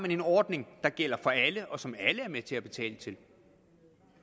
en ordning der gælder for alle og som alle er med til at betale til